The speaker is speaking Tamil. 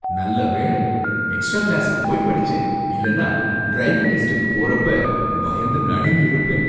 நல்ல வேளை, எக்ஸ்ட்ரா கிளாஸுக்கு போய் படிச்சேன், இல்லனா டிரைவிங் டெஸ்டுக்கு போறப்ப பயந்து நடுங்கிருப்பேன்!